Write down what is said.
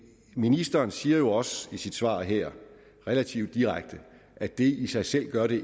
ministeren siger jo også i sit svar her relativt direkte at det i sig selv ikke gør det